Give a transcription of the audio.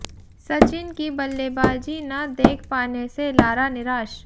सचिन की बल्लेबाजी न देख पाने से लारा निराश